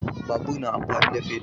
Babur na amfani da fetur